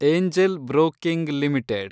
angel broking limited